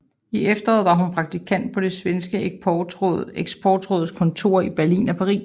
I efteråret var hun praktikant på det svenske Eksportrådets kontorer i Berlin og Paris